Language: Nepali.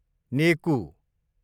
नेकु